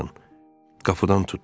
Qapıdan tutdu.